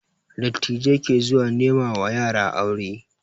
Dattijai ke zuwa nema wa yara aure